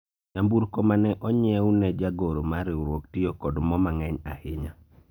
nyamburko mane onyiewu ne jagoro mar riwruok tiyo kod moo mang'eny ahinya